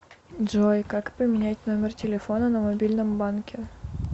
джой как поменять номер телефона на мобильном банке